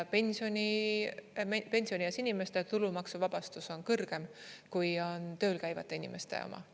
Pensionieas inimeste tulumaksuvabastus on kõrgem kui on tööl käivate inimeste oma.